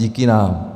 Díky nám.